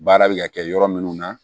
Baara bɛ ka kɛ yɔrɔ minnu na